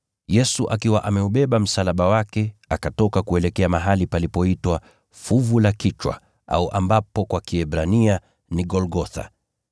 Yesu, akiwa ameubeba msalaba wake, akatoka kuelekea mahali palipoitwa Fuvu la Kichwa (kwa Kiebrania ni Golgotha).